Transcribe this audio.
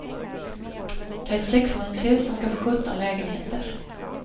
Det är ett sexvåningshus, som skall få sjutton lägenheter.